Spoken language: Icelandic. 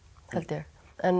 held ég en